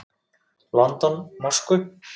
London, Moskvu.